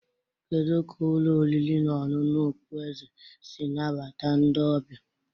Kedu ka ụlọ oriri na ọṅụṅụ okpueze si nabata ndị ọbịa?